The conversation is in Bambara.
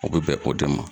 U bɛ bɛn o de ma